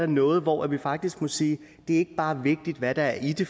noget hvor vi faktisk må sige at det ikke bare er vigtigt hvad der er i det